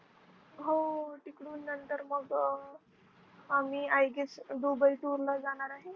हो तिकडून नंतर मग आम्ही I guessDubai tour ला जाणार आहे.